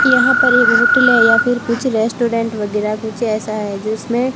यहां पर एक होटल है या फिर कुछ रेस्टोरेंट वगैरह कुछ ऐसा है जिसमें--